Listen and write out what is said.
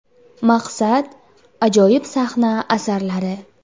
Maqsad – ajoyib sahna asarlari.